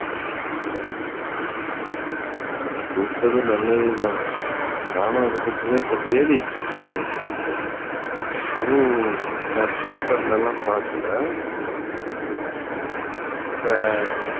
அஹ் நீ கூப்பிட்டதும் நல்லதுதான். நானும் அதைப்பத்திதான் இப்ப தேடிட்டு இருந்தேன். அதுவும் நான் paper ல எல்லாம் பார்க்கல இந்த